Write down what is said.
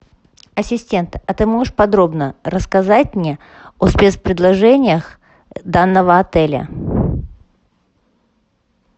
ассистент а ты можешь подробно рассказать мне о спецпредложениях данного отеля